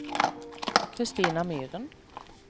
Christina Myren